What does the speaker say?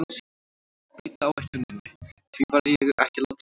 Breyta áætluninni, því var ég ekki látinn vita.